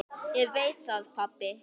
Ég veit það pabbi.